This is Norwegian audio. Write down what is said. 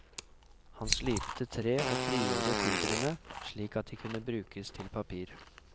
Han slipte tre og frigjorde fibrene slik at de kunne brukes til papir.